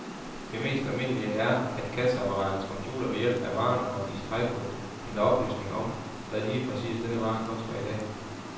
Det mest almindelige er, at kasseapparatets computer ved hjælp af varenummeret i stregkoden henter oplysning om, hvad lige præcis denne vare koster i dag.